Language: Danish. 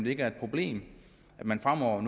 ikke et problem at man fremover